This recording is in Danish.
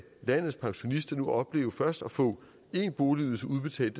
landets pensionister nu opleve først at få en boligydelse udbetalt